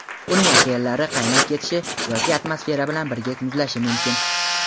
uning okeanlari qaynab ketishi yoki atmosfera bilan birga muzlashi mumkin.